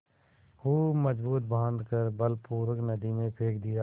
खूब मजबूत बॉँध कर बलपूर्वक नदी में फेंक दिया